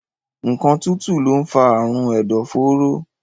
Nǹkan tútù lọ ń fa àrùn ẹ̀dọ̀fóró